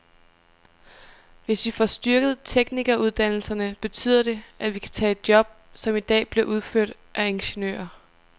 Hvis vi får styrket teknikeruddannelserne, betyder det, at de kan tage job, som i dag bliver udført af ingeniører.